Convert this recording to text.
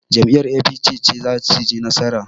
Jam'iyyar APC ce za suyi nasara.